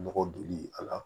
Nɔgɔ doni a la